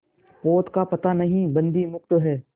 पोत का पता नहीं बंदी मुक्त हैं